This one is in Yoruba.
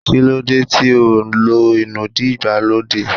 Kí lóde ti óò ló inúdí ìgbàlódé?